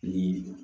Ni